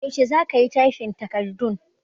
Yaushe za ka yi tyfin takardun?